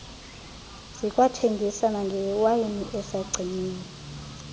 zikwathengisa nangewayini asagciniwe